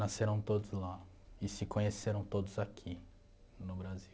Nasceram todos lá e se conheceram todos aqui, no Brasil.